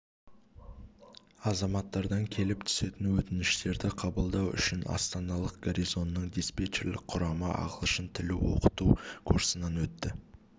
азаматтардан келіп түсетін өтініштерді қабылдау үшін астаналық гарнизонның диспетчерлік құрамы ағылшын тілін оқыту курсынан өтті